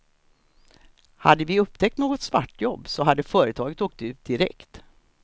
Hade vi upptäckt något svartjobb så hade företaget åkt ut direkt.